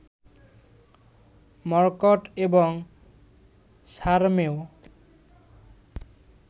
মর্কট এবং সারমেয়